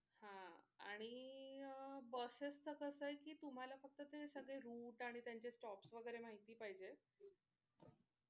हा आणि Buses च कस आहे कि तुम्हाला फक्त ते सगळे route आणि त्यांचे stops वैगरे माहिती पाहिजे.